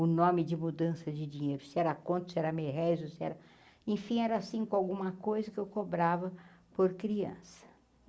O nome de mudança de dinheiro, se era a conto, se era merréis, ou se era... Enfim, era cinco alguma coisa que eu cobrava por criança.